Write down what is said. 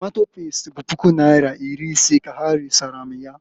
Tomato pest bụ puku naira iri ise ka ha resara m ya.